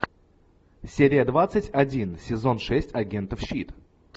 серия двадцать один сезон шесть агентов щит